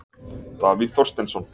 Davíð Þorsteinsson.